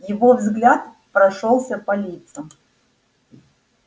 его взгляд прошёлся по лицам